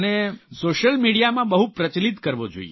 social મિડિયામાં બહુ પ્રચલિત કરવો જોઇએ